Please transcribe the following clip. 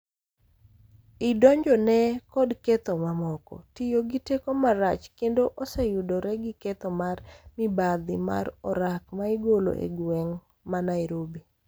I donjone kod ketho mamoko, tiyo gi teko marach, kendo oseyudore gi ketho mar mibadhi mar orak maigolo e gweng' ma Nairobi